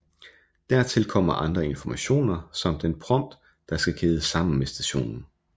Dertil kommer andre informationer samt den prompt der skal kædes sammen med stationen